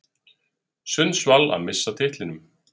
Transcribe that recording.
Sundsvall að missa af titlinum